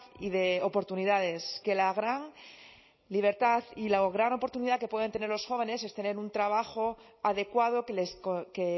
y de oportunidades que la gran libertad y la gran oportunidad que pueden tener los jóvenes es tener un trabajo adecuado que